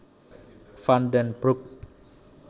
Van den Broek